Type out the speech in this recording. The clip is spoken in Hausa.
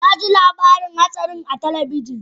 Na ji labarin hatsarin a talabijin